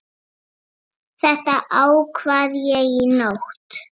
Þetta ákvað ég í nótt.